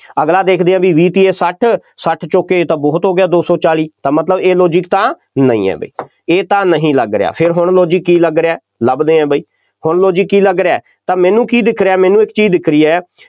ਅਗਲਾ ਦੇਖਦੇ ਹਾਂ ਬਈ, ਵੀਹ ਤੀਏ ਸੱਠ, ਸੱਠ ਚੌਕੇ ਇਹ ਤਾਂ ਬਹੁਤ ਹੋ ਗਿਆ, ਦੋ ਸੌ ਚਾਲੀ, ਤਾਂ ਮਤਲਬ ਇਹ logic ਤਾਂ ਨਹੀਂ ਹੈ ਬਈ, ਇਹ ਤਾਂ ਨਹੀਂ ਲੱਗ ਰਿਹਾ, ਫੇਰ ਹੁਣ logic ਕੀ ਲੱਗ ਰਿਹਾ, ਲੱਭਦੇ ਹਾਂ ਬਾਈ, ਹੁਣ logic ਕੀ ਲੱਗ ਰਿਹਾ, ਤਾਂ ਮੈਨੂੰ ਕੀ ਦਿੱਖ ਰਿਹਾ, ਮੈਨੂੰ ਇੱਕ ਚੀਜ਼ ਦਿੱਖ ਰਹੀ ਹੈ,